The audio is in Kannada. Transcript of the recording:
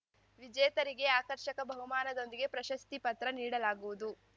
ವಿಜೇತರಿಗೆ ಆಕರ್ಷಕ ಬಹುಮಾನದೊಂದಿಗೆ ಪ್ರಶಸ್ತಿ ಪತ್ರ ನೀಡಲಾಗುವುದು